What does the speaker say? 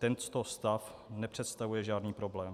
Tento stav nepředstavuje žádný problém.